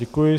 Děkuji.